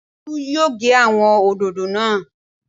Tolu yóò gé àwọn òdòdó náà